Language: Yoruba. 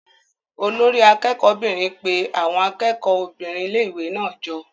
Olori akẹ́kọ̀ọ́ 'bìnrin pe àwọn akẹ́kọ̀ọ́ obìnrin ilé-ìwé náà jọ.